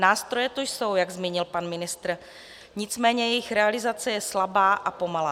Nástroje tu jsou, jak zmínil pan ministr, nicméně jejich realizace je slabá a pomalá.